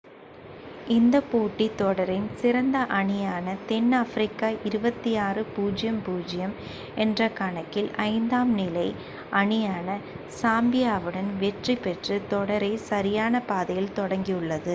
இந்த போட்டி தொடரின் சிறந்த அணியான தென்னாப்பிரிக்கா 26 - 00 என்ற கணக்கில் 5ம் நிலை அணியான சாம்பியாவுடன் வெற்றி பெற்று தொடரை சரியான பாதையில் தொடங்கியுள்ளது